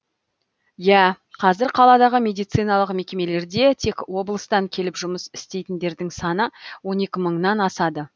иә қазір қаладағы медициналық мекемелерде тек облыстан келіп жұмыс істейтіндердің саны он екі мыңнан асады